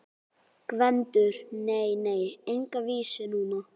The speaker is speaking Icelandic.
GVENDUR: Nei, nei, enga vísu núna.